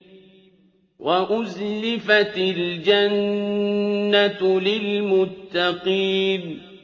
وَأُزْلِفَتِ الْجَنَّةُ لِلْمُتَّقِينَ